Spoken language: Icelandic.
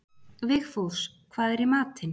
Vigfús, hvað er í matinn?